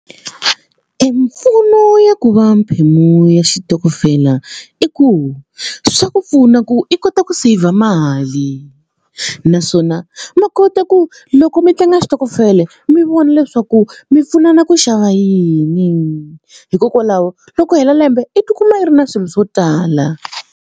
Mimpfuno ya ku va mphemu ya xitokofela i ku swa ku pfuna ku i kota ku saver mali naswona va kota ku loko mi tlanga switokofela mi vona leswaku mi pfunana ku xava yini hikokwalaho loko ku hela lembe i tikuma i ri na swilo swo tala.